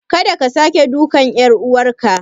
Kada ka sake dukan ƴar uwarka.